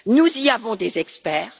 Nous y avons des experts.